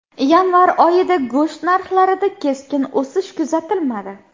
Yanvar oyida go‘sht narxlarida keskin o‘sish kuzatilmadi.